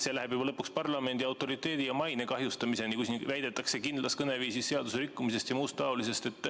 See läheb juba lõpuks parlamendi autoriteedi ja maine kahjustamiseni, kui siin midagi väidetakse ja räägitakse kindlas kõneviisis seaduserikkumisest ja muust seesugusest.